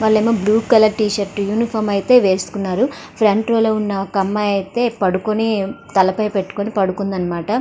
వాళ్లేమో blue colour T shirt uniform ఐతే వేసుకున్నారు front row లొ ఉన్న ఒక అమ్మాయి అయితే పడుకొని తల పైన పెట్టుకొని పడుకుందనమాట.